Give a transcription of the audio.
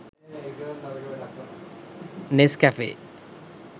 nescafe